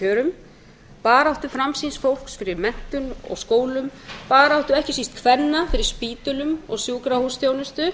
kjörum baráttu framsýns fólks fyrir menntun og skólum baráttu ekki síst kvenna fyrir spítölum og sjúkrahúsþjónustu